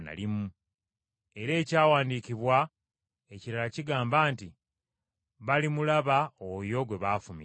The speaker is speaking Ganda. Era ekyawandiikibwa ekirala kigamba nti, “Balimulaba oyo gwe baafumita.”